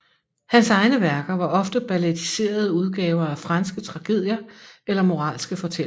Hans egne værker var ofte ballettiserede udgaver af franske tragedier eller moralske fortællinger